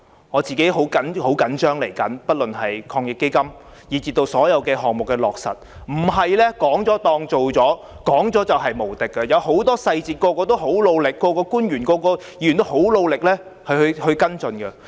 我很着緊接下來不論是防疫抗疫基金措施或所有其他項目的落實，不是說了當做了，說了便無敵，有很多細節，每個人、官員和議員都很努力跟進。